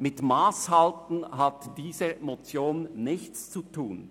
Mit Masshalten hat diese Motion